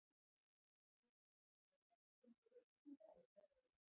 Lillý: Eru margir sem spyrja spurninga eða spjalla við ykkur?